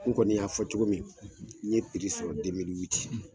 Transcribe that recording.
N kɔni y'a fɔ cogo min, n ye sɔrɔ